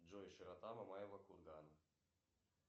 джой широта мамаева кургана